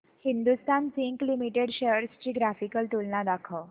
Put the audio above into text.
Hindustan Zinc Limited shares ची graphical तुलना दाखव